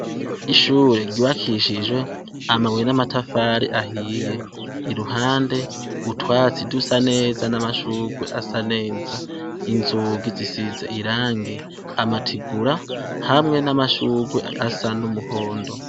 Ishure ry'ubakishijwe amabuye n'amatafari ahiye , iruhande utwatsi dusa neza n'amashurwe asa neza. Inzugi zisize irangi ,amategura hamwe amashurwe asa numuhondo.